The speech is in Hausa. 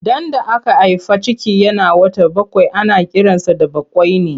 Ɗan da aka haifa ciki yana wata bakwai ana kiransa da bakwaini.